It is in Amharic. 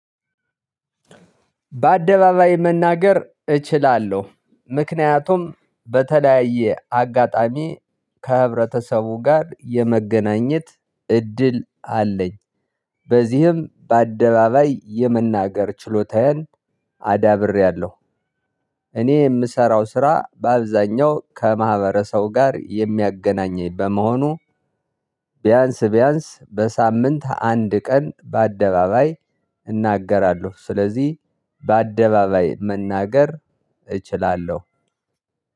በአደባባይ መናገር እችላለሁ ምክንያቱም በተለያየ አጋጣሚ ከህብረተሰቡ ጋር የመገናኘት እድል አለኝ በዚህም በአደባባይ የመናገር ችሎታዬን አዳብሬያለሁ። እኔ የምሰራው ስራ በአብዛኛው ከማህበረሰቡ ጋር የሚያገናኘኝ በመሆኑ ቢያንስ ቢያንስ በሳምንት አንድ ቀን በአደባባይ እናገራለሁ። ስለዚህ በአደባባይ መናገር እችላለሁ።